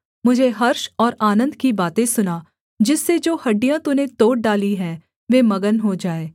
मुझे हर्ष और आनन्द की बातें सुना जिससे जो हड्डियाँ तूने तोड़ डाली हैं वे मगन हो जाएँ